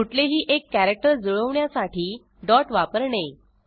कुठलेही एक कॅरॅक्टर जुळवण्यासाठी डॉट वापरणे